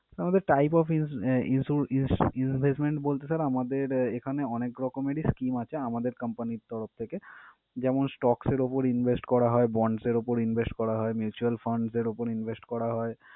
আমাদের type of ins~ ah insu~ins~ investment বলতে sir আমাদের এখানে অনেক রকমের scheme আছে আমাদের company র তরফ থেকে। যেমন stocks এর উপর invest করা হয়, bonds এর উপর invest করা হয়, mutual funds এর উপর invest করা হয়